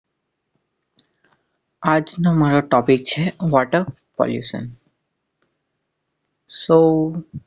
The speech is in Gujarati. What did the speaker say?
આજ નો મારો topic છે Water-Pollution